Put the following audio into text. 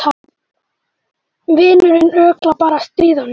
Vinurinn örugglega bara að stríða honum.